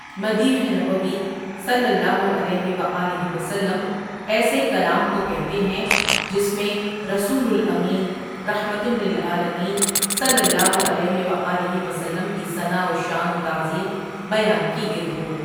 مدیح نبوی صلی اللہ علیہ وآلہ وسلم ایسے کلام کو کہتے ہیں جس میں رسول الامین رحمۃ اللعٰلمين صلی اللہ علیہ وآلہ وسلم کی ثناء و شان و تعظیم بیان کی گئی ہو۔